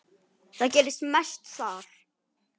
Það gerist mest þar.